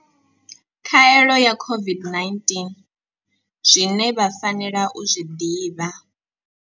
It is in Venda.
Khaelo ya COVID-19 zwine vha fanela u zwi ḓivha.